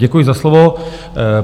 Děkuji za slovo.